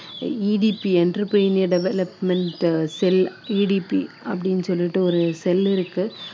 EDC entrepreneur development cell EDC அப்படின்னு சொல்லிட்டு ஒரு cell இருக்கு